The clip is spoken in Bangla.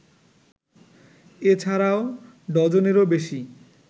এ ছাড়াও ডজনেরও বেশি